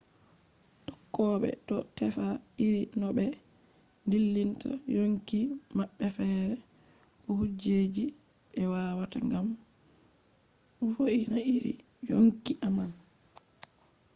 tokkobe do tefa iri no be dillinta yonki mabbe fere ko kujeji je be watta gam vo’ina iri yonki man